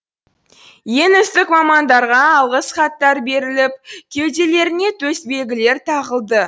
ең үздік мамандарға алғыс хаттар беріліп кеуделеріне төсбелгілер тағылды